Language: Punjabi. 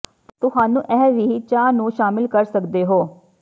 ਤੁਹਾਨੂੰ ਇਹ ਵੀ ਚਾਹ ਨੂੰ ਸ਼ਾਮਿਲ ਕਰ ਸਕਦੇ ਹੋ